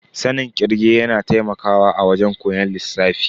Sanin kirge yana taimakawa a wajen koyon lissafi.